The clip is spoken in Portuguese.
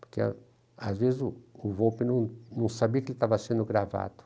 Porque, às vezes, o o Volpi não não sabia que ele estava sendo gravado.